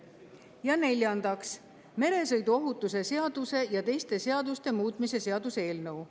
Ja neljandaks, meresõiduohutuse seaduse ja teiste seaduste muutmise seaduse eelnõu.